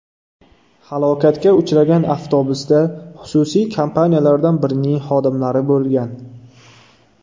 Halokatga uchragan avtobusda xususiy kompaniyalardan birining xodimlari bo‘lgan.